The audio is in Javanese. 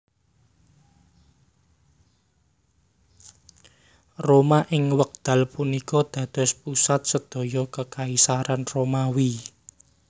Roma ing wekdal punika dados pusat sedaya Kekaisaran Romawi